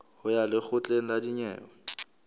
ho ya lekgotleng la dinyewe